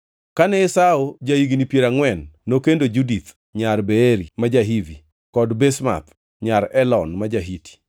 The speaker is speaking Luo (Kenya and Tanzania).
Kane Esau ja-higni piero angʼwen, nokendo Judith nyar Beeri ma ja-Hiti, kod Basemath nyar Elon ma ja-Hiti.